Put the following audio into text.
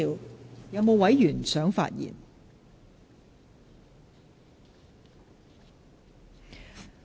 是否有委員想發言？